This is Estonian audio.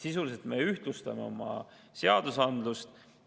Sisuliselt me ühtlustame oma seadusandlust.